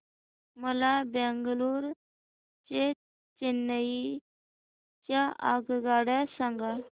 मला बंगळुरू ते चेन्नई च्या आगगाड्या सांगा